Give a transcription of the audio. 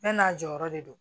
Bɛɛ n'a jɔyɔrɔ de don